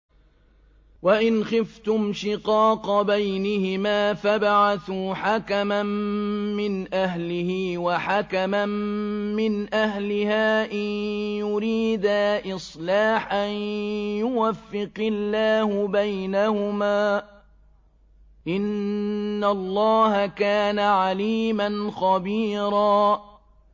وَإِنْ خِفْتُمْ شِقَاقَ بَيْنِهِمَا فَابْعَثُوا حَكَمًا مِّنْ أَهْلِهِ وَحَكَمًا مِّنْ أَهْلِهَا إِن يُرِيدَا إِصْلَاحًا يُوَفِّقِ اللَّهُ بَيْنَهُمَا ۗ إِنَّ اللَّهَ كَانَ عَلِيمًا خَبِيرًا